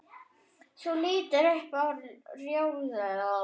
Þú lítur upp í rjóðri.